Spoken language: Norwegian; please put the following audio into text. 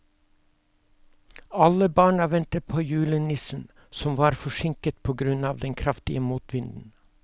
Alle barna ventet på julenissen, som var forsinket på grunn av den kraftige motvinden.